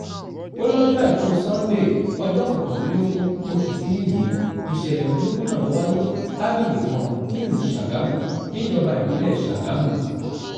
ó lọ́jọ́ àìkú sanńdé ọjọ́ kọkànlélógún oṣù kinni yìí nìṣẹ̀lẹ̀ burúkú náà wáyé lágbègbè kan nílùú sàgámù níjọba ìbílẹ̀ sàgámù